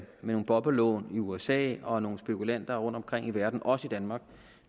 nogle boblelån i usa og nogle spekulanter rundtomkring i verden og også i danmark